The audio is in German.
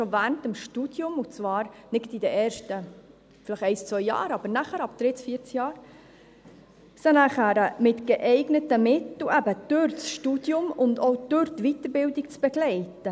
schon während des Studiums, und zwar vielleicht nicht gerade in den ersten zwei Jahren, aber nachher, ab dem dritten oder vierten Jahr – und sie nachher mit geeigneten Mitteln durch das Studium und auch durch die Weiterbildung zu begleiten.